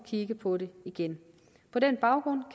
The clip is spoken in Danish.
kigge på det igen på den baggrund